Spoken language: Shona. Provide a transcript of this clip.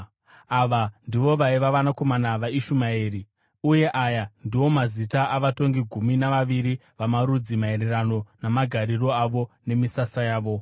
Ava ndivo vaiva vanakomana vaIshumaeri, uye aya ndiwo mazita avatongi gumi navaviri vamarudzi maererano namagariro avo nemisasa yavo.